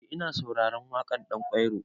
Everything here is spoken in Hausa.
Eh ina sauraren waƙar Ɗanƙwairo.